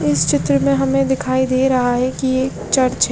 इस चित्र में हमे दिखाई दे रहा है की ये एक चर्च है।